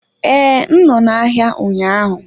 Ee, m nọ n'ahịa ụnyaahụ